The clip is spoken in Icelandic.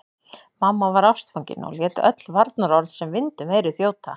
Mamma var ástfangin og lét öll varnaðarorð sem vind um eyru þjóta.